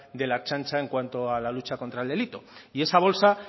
de la ertzaintza en cuanto a la lucha contra el delito y esta bolsa